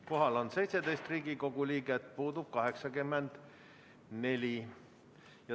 Kohal on 17 Riigikogu liiget, puudub 84.